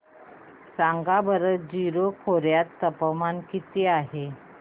सांगा बरं जीरो खोर्यात तापमान किती आहे